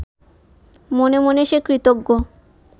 মনে মনে সে কৃতজ্ঞ